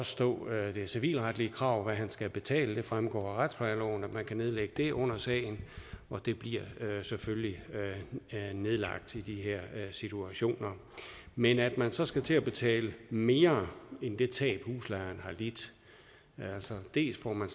stå det civilretlige krav altså hvad han skal betale det fremgår af retsplejeloven at man kan nedlægge det krav under sagen og det bliver selvfølgelig nedlagt i de her situationer men at man så skal til at betale mere end det tab husejeren har lidt altså dels får man